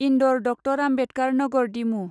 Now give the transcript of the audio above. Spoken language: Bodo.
इन्दौर डक्टर आम्बेदकार नगर डिमु